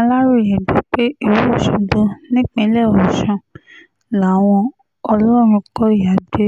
aláròye gbọ́ pé ìlú ọ̀ṣọ́gbó nípínlẹ̀ ọ̀sùn làwọn ọlọ́runkọ̀yà gbé